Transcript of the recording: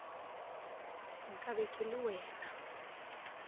nka be ke le wena